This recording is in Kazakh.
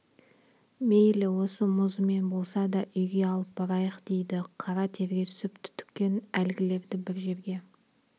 мейлі осы мұзымен болса да үйге алып барайық дейді қара терге түсіп түтіккен әлгілерді бір жерге